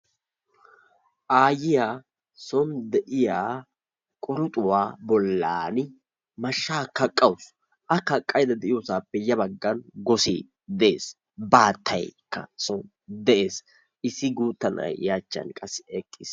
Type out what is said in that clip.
Aayiya soon de'iya quruxuwa bollan mashshaa kaqqawusu. A kaqqaydda de'iyosaappe ya baggan gosee de'ees, baattaykka soni de'ees issi gutta naa'ay I achchan eqqiis.